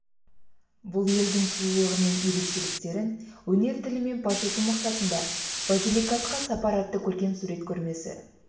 бұл елдің сұлулығы мен ерекшеліктерін өнер тілімен паш ету мақсатында базиликатқа сапар атты көркем сурет көрмесі